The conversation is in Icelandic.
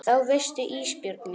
Og það veistu Ísbjörg mín.